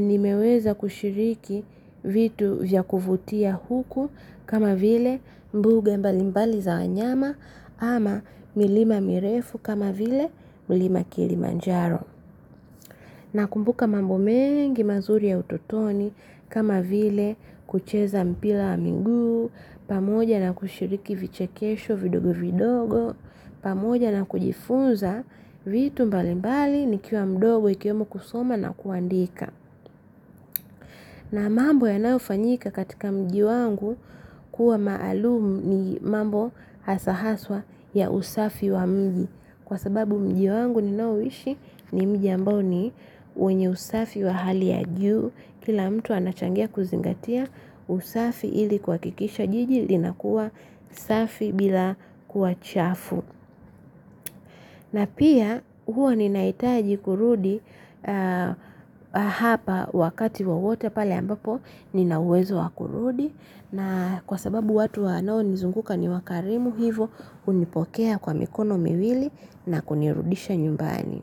nimeweza kushiriki vitu vya kuvutia huku kama vile mbuga mbali mbali za wanyama ama milima mirefu kama vile milima kilimanjaro. Na kumbuka mambo mengi mazuri ya utotoni kama vile kucheza mpila wa miguu, pamoja na kushiriki vichekesho vidogo vidogo, pamoja na kujifunza vitu mbali mbali ni kiwa mdogo ikiyumu kusoma na kuandika. Na mambo yanayofanyika katika mji wangu kuwa maalum ni mambo hasa haswa ya usafi wa mji kwa sababu mji wangu ninaoishi ni mji ambao ni wenye usafi wa hali ya juu. Kila mtu anachangia kuzingatia usafi ili kua ikisha jiji lina kuwa ulsafi bila kuwa chafu. Na pia huwa ninaitaji kurudi hapa wakati wowote pale ambapo ninauwezo wa kurudi na kwa sababu watu wanao nizunguka ni wakarimu hivo hunipokea kwa mikono miwili na kunirudisha nyumbani.